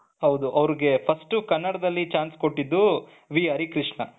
ಹೌದು ಅವರಿಗೆ ಕನ್ನಡದಲ್ಲಿ first chance ಕೊಟ್ಟಿದ್ದು ವಿ ಹರಕೃಷ್ಣ